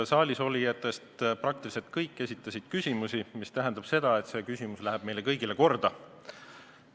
Saalisolijatest praktiliselt kõik esitasid küsimusi, mis tähendab seda, et see küsimus läheb meile kõigile korda.